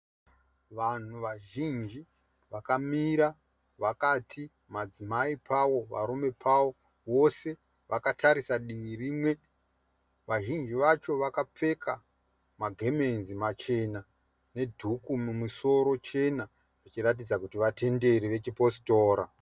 Vanhu vazhinji vakamira vakati madzimai pawo varume pavo. Vose vakatarisa divi rimwe vazhinji vacho vakapfeka magemenzi machena nedhuku mumusoro chena zvichiratidza kuti vatenderi vechipostora.